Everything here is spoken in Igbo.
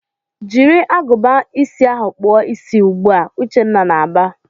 "Jiri agụba ịsị ahụ kpụọ isi ugbu a!" Uchenna na-aba.